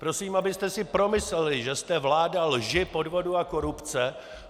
Prosím, abyste si promysleli, že jste vláda lži, podvodu a korupce.